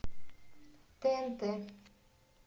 тнт